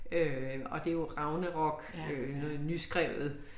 Øh og det jo Ragnarok øh noget nyskrevet